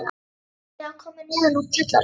Mamma og Heiða komu neðan úr kjallara.